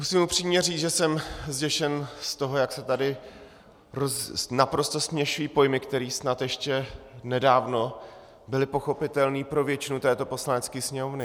Musím upřímně říct, že jsem zděšen z toho, jak se taky naprosto směšují pojmy, které snad ještě nedávno byly pochopitelné pro většinu této Poslanecké sněmovny.